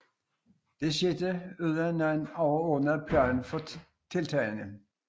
Dette skete uden nogen overordnet plan for tiltagene